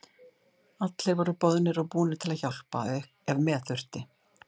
Allir voru boðnir og búnir til að hjálpa ef með þurfti.